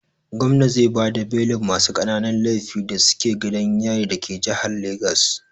Gomna zai bada belin masu ƙananun laifi da suke gidan yarin dake jihar Legas.